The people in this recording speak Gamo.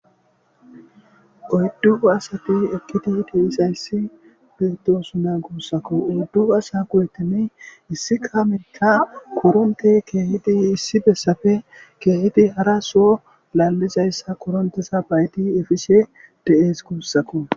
Oydu asati eqidi dizaysati betes gusako